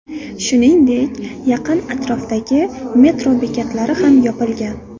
Shuningdek, yaqin atrofdagi metro bekatlari ham yopilgan.